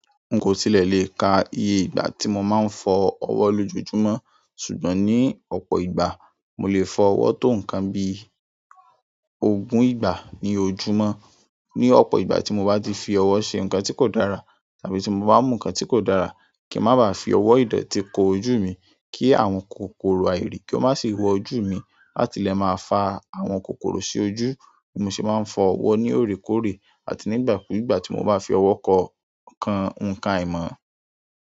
N kò tílẹ̀ lè ka iye ìgbà tí mo máa ń fọ ọwọ́ lójojùmó, ṣùgbọ́n ní ọ̀pọ̀ ìgbà, mo lè fọ ọwọ́ tó nǹkan bí ogún ìgbà ní ojú mó. Ní ọ̀pọ̀ ìgbà tí mo bá ti fi ọwọ́ ṣe nǹkan tí kò dára tàbí tí mo bá mú nǹkan tí kò dára, kí n máa ba à fi ọwọ́ ìdọ̀tí ko ojú mi kí àwọn kòkòrò àìrí kí ó má ṣe wọ ojú mi. Láti lè máa fa àwọn kòkòrò sí ojú, mo sì máa ń fọ ọwọ́ ní òrékọ́òrẹ́ àti nígbà kú ìgbà tí mo bá fi ọwọ́ kan ǹkan aìmọ̀.